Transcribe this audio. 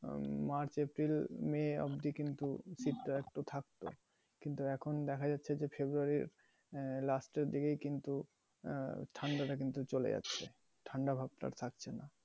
আহ March, April, May তে অবধি কিন্তু শীতটা একটু থাকতো। কিন্তু এখন দেখা যাচ্ছে যে February এর আহ last এর দিকেই কিন্তু আহ ঠাণ্ডা টা কিন্তু চলে যাচ্ছে। ঠাণ্ডা ভাবটা থাকছেনা।